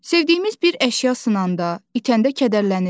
Sevdiyimiz bir əşya sınanda, itəndə kədərlənirik.